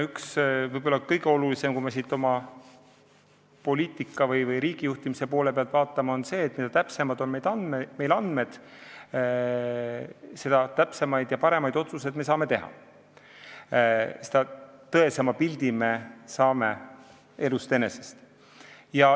Üks võib-olla kõige olulisemaid asju, kui me poliitika või riigijuhtimise poole pealt vaatame, on see, et mida täpsemad on andmed, seda täpsemaid ja paremaid otsuseid me saame teha, seda tõesema pildi saame elust enesest.